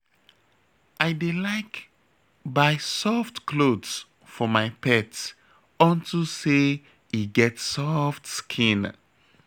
I dey like buy soft clothes for my pet unto say e get soft skin